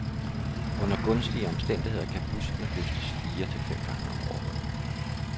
Under gunstige omstændigheder kan buskene høstes fire til fem gange om året.